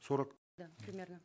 сорок да примерно